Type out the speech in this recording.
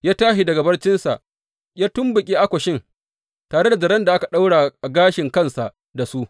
Ya tashi daga barcinsa ya tumɓuke akwashan tare da zaren da aka ɗaura gashin kansa da su.